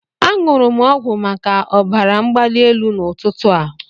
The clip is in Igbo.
Aṅụrụ m ọgwụ maka ọbara mgbali elu n'ụtụtụ a.